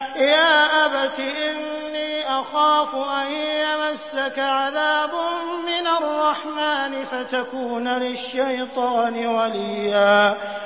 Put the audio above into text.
يَا أَبَتِ إِنِّي أَخَافُ أَن يَمَسَّكَ عَذَابٌ مِّنَ الرَّحْمَٰنِ فَتَكُونَ لِلشَّيْطَانِ وَلِيًّا